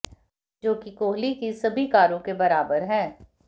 जो कि कोहली की सभी कारों के बराबर है